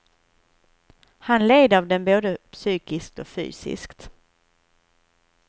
Han led av den både psykiskt och fysiskt.